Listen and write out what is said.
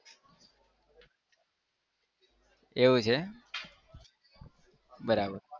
એવું છે બરાબર